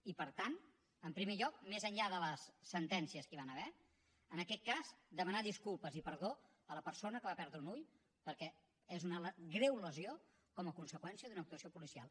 i per tant en primer lloc més enllà de les sentències que hi van haver en aquest cas demanar disculpes i perdó a la persona que va perdre un ull perquè és una greu lesió com a conseqüència d’una actuació policial